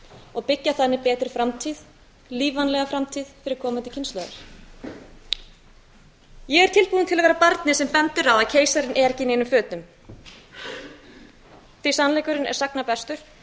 og byggja þannig betri framtíð lífvænlega framtíð fyrir komandi kynslóðir ég er tilbúin til að vera barnið sem bendir á að keisarinn er ekki í neinum fötum því að sannleikurinn er sagna bestur